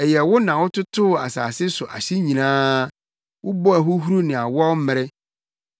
Ɛyɛ wo na wototoo asase so ahye nyinaa; wobɔɔ ahohuru ne awɔw mmere.